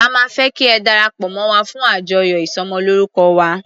A máa fẹ́ kí ẹ darapọ̀ mọ́ wa fún àjọyọ̀ ìsọmọlórúkọ wa.